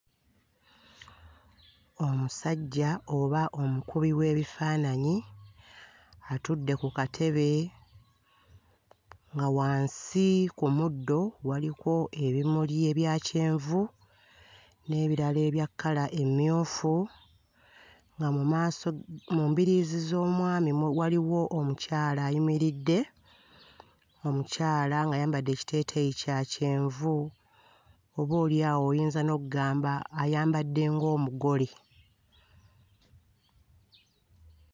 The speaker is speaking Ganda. Omusajja oba omukubi w'ebifaananyi atudde ku katebe nga wansi ku muddo waliko ebimuli ebya kyenvui n'ebirala ebya kkala emmyufu, nga mu maaso, mu mbirizi z'omwami waliwo omukyala ayimiridde, omukyala ng'ayambadde ekiteeteeyi kya kyenvu oboolyawo oyiza n'oggamba ayambadde ng'omugole.